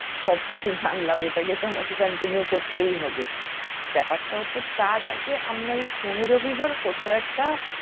সবকিছু আমাকে continue করতেই হবে ব্যাপারটা হচ্ছে তার আগে আমরা এই শনি রবিবার কোথাও একটা